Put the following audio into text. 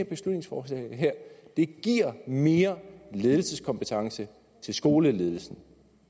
beslutningsforslag giver mere ledelseskompetence til skoleledelsen